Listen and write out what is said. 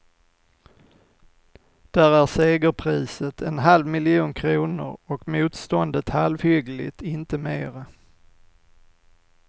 Där är segerpriset en halv miljon kronor och motståndet halvhyggligt, inte mera.